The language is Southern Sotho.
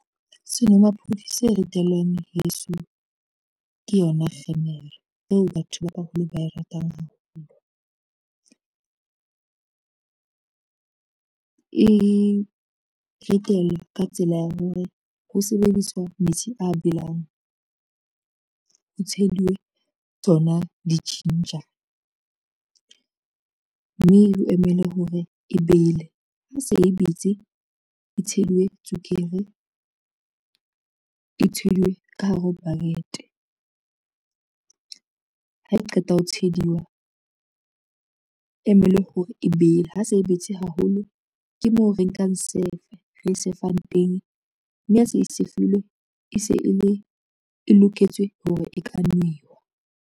Senomaphodi se ritelwang heso ke yona kgemere eo batho ba baholo ba e ratang haholo. E ritelwa ka tsela ya hore ho sebediswa metsi a belang, ho tsheluwe tsona di-ginger mme ho emele hore e bele, ha se e betse e tsheluwe tswekere, e tshwelwe ka hara bucket. Ha e qeta ho tsheduwa, emelwe hore e bele ha se e betse haholo, ke moo re nkang sefe re safang teng, mme ha se sefilwe e se e loketswe hore e ka newa.